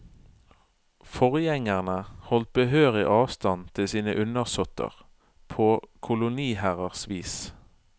Forgjengerne holdt behørig avstand til sine undersåtter, på koloniherrers vis.